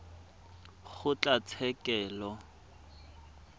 kgotlatshekelo